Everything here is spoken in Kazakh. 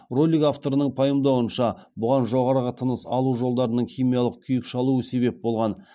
ролик авторының пайымдауынша бұған жоғарғы тыныс алу жолдарының химиялық күйік шалуы себеп болған